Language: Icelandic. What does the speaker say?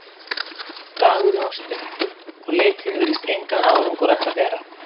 Dagurinn var stuttur, og leitin virtist engan árangur ætla að bera.